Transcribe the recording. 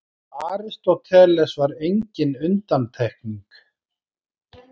Aristóteles var engin undantekning.